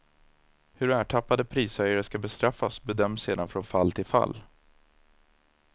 Hur ertappade prishöjare skall bestraffas bedöms sedan från fall till fall.